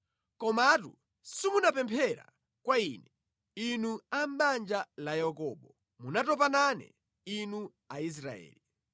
“Komatu simunapemphera kwa Ine, Inu a mʼbanja la Yakobo, munatopa nane, Inu Aisraeli.